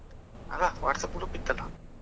ಅಲ್ಲ WhatsApp group ಇತ್ತಲ್ಲಾ.